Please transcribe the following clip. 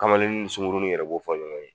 Kamalenni n suŋurunin yɛrɛ b'o fɔ ɲɔgɔn ye.